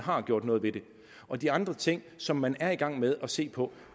og de andre ting som man er i gang med at se på